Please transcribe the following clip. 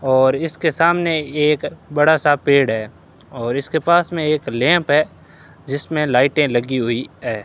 और इसके सामने एक बड़ा सा पेड़ हैं और इसके पास में एक लैंप है जिसमें लाइटें लगीं हुईं हैं।